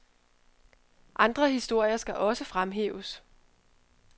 Andre historier skal også fremhæves.